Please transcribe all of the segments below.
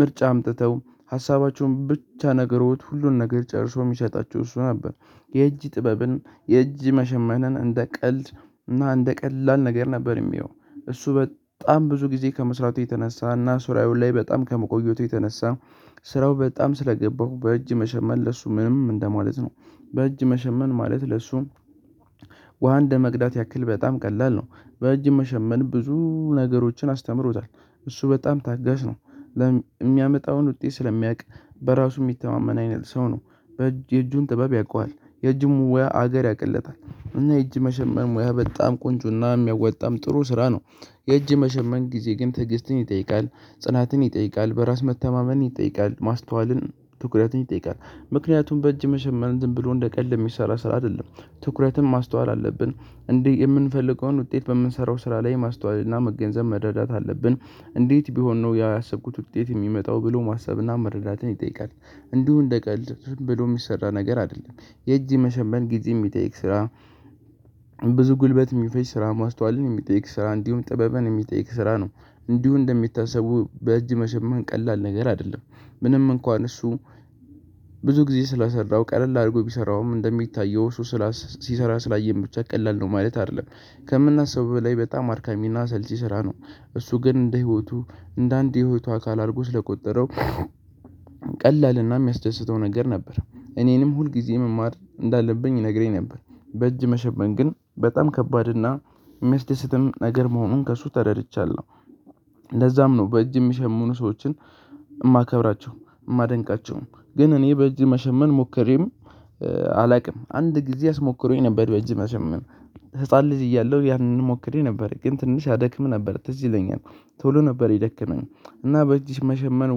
ምርጫ አምጥተው ሀሳባቸውን ብቻ ነገሮች ሁሉን ነገር ጨርሶ የሚሰጣቸው እሱ ነበር። የእጅ ጥበብን የእጅ መሸመንን እንደ ቀልድ እና እንደ ቀላል ነገር ነበር የሚያየው። እሱ በጣም ብዙ ጊዜ ከመስራቱ የተነሳ እና ስራው ላይ በጣም ከመቆየቱ የተነሳ ስራው በጣም ስለገባው በእጅ መሸመል ለሱ ምንም እንደማለት ነው። በእጅ መሸመን ማለት ለእሱ ውሃ እንደመቅዳት ያክል በጣም ቀላል ነው። በእጅ መሸመን ብዙ ነገሮችን አስተምሮታል። እሱ በጣም ታጋሽ ነው። የሚያመጣውን ውጤት ስለሚያውቅ በራሱ የሚተማመን አይነት ሰው ነው። የእጁን ጥበብ ያውቀዋል። የእጁን ሙያ ሀገር ያቅለታል እና የእጅ መሸመን ሙያ በጣም ቆንጆና የሚያዋጣም ጥሩ ስራ ነው። የእጅ መሸመን ጊዜ ግን ትዕግስትን ይጠይቃል። ጽናትን ይጠይቃል በራስ መተማመንን ይጠይቃል ማስተዋልን ትኩረትን ይጠይቃል። ምክንያቱም በእጅ መሸመን ዝም ብሎ እንደ ቀልድ የሚሰራ ስራ አይደለም። ትኩረትን ማስተዋል አለብን እንዲህ የምንፈልገውን ውጤት በምንሰራው ስራ ላይ ማስተዋል እና መገንዘብ መረዳት አለብን። እንዴት ቢሆን ነው ያሰብኩት ውጤት የሚመጣው ብሎ ማሰብና መረዳትን ይጠይቃል። እንዲሁ እንደቀልድ ዝም ብሎ የሚሰራ ነገር አይደለም። የእጅ መሸመን ጊዜ የሚጠይቅ ስራ። ብዙ ጉልበት የሚፈጅ ስራ ማስተዋልን የሚጠይቅ ስራ እንዲሁም ጥበብን የሚጠይቅ ስራ ነው። እንዲሁ እንደሚታሰበው በእጅ መሸማን ቀላል ነገር አይደለም። ምንም እንኳን እሱ ብዙ ጊዜ ስለ ሰራው ቀለል አድርጎ ቢሰራውም እንደሚታየው እሱ ስራ ሲሰራ ስላየን ብቻ ቀላል ነው ማለት አይደለም። ከምናስበው በላይ በጣም አድካሚና አሰልቺ ስራ ነው። እሱ ግን እንደ ህይወቱ እንደ አንድ የህይወቱ አካል አርጎ ስለቆጠረው ቀላልና የሚያስደስተው ነገር ነበር። እኔንም ሁልጊዜ መማር እንዳለብኝ ይነግረኝ ነበር። በእጅ መሸመን ግን በጣም ከባድ እና ሚያስደሰትም ነገር መሆኑን ከእሱ ተረድቻለሁ። ለዛም ነው በእጅ የሚሸሙኑ ሰዎችን የማከብራቸው። የማደንቃቸውም ግን እኔ በእጅ መሸመን ሞከሬም አላውቅም አንድ ጊዜ አስሞክሮኝ ነበር በእጅ መሸመን። ህፃን ልጅ እያለሁ ያንን ሞክሬ ነበር ግን ትንሽ ያደክም ነበር ትዝ ይለኛል። ቶሎ ነበር የደከመኝ እና በእጅ መሸመን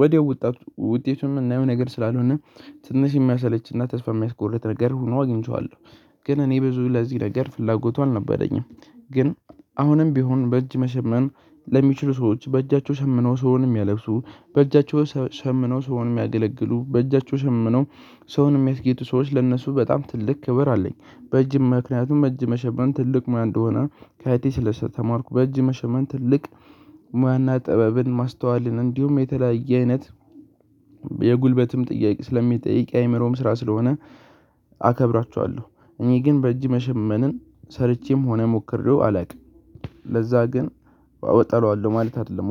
ወዲያው ወጣቱ ውጤቱን ምናየው ነው ነገር ስላልሆነ ትንሽ የሚያሰለችና ተስፋ የሚያስቆርጥ ነገር ሆኖ አግኝቼዋለሁ። ግን እኔ ብዙ ለዚህ ነገር ፍላጎቱ አልነበረኝም። ግን አሁንም ቢሆን በእጅ መሸመን ለሚችሉ ሰዎች በእጃቸው ሸምነው ሰውን የሚያለብሱ በእጃቸው ሸምነው ሰውን የሚያገለግሉ በእጃቸው ሸምነው ሰውን የሚያስጌጡ ሰዎች ለእነሱ በጣም ትልቅ ክብር አለኝ። በእጅ ምክንያቱም በእጅ መሸመን ትልቅ ሙያ እንደሆነ። ከአያቴ ስለተማርኩ በእጅ መሸመን ትልቅ ሙያና ጥበብን ማስተዋልን እንዲሁም የተለያየ አይነት የጉልበትም ጥያቄ ስለሚጠይቅ አይምሮም ስራ ስለሆነ። አከብራችኋለሁ። እኔ ግን በእጅ መሸመንን ሰርቼም ሆነ ሞክሬው አላውቅም። ለዛ ግን አወ እጠላዋለው ማለት አይደለም